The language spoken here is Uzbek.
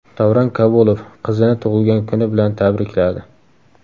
Davron Kabulov qizini tug‘ilgan kuni bilan tabrikladi.